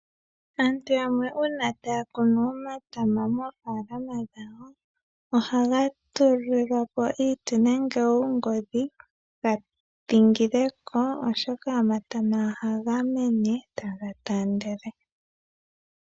Aantu yamwe una taya kunu omatama mofalama dhawo ohaga tulilwa po iiti nenge oongodhi opo giidhingileko oshoka omatama oha gamene taga taandele.